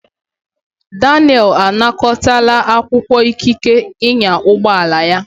Daniel anakọtala akwụkwọ ikike ịnya ụgbọ ala ya.